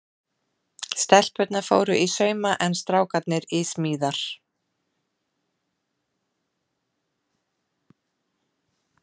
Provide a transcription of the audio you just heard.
Stelpurnar fóru í sauma en strákarnir í smíðar.